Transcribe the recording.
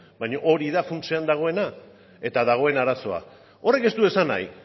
baina hori da funtsean dagoena eta dagoen arazoa horrek ez du esan nahi